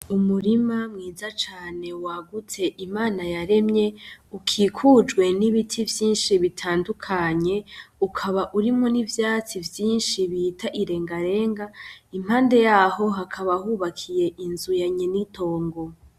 Umurima mwiza cane wagutse Imana yaremye ukikujwe n'ibiti vyinshi bitandukanye ukaba urimwo n'ivyatsi vyinshi bita irengarenga impande yaho hakaba hubakiye inzu yanyen'itongo.